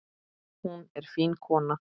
Hún er fín kona.